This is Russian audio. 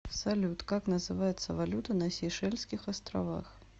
салют как называется валюта на сейшельских островах